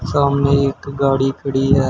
सामने एक गाड़ी खड़ी है।